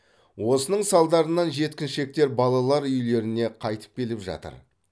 осының салдарынан жеткіншектер балалар үйлеріне қайтып келіп жатыр